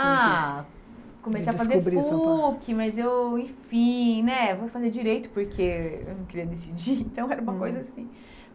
Ah, comecei a fazer PUC, mas eu, enfim né, vou fazer direito porque eu não queria decidir, então era uma coisa assim.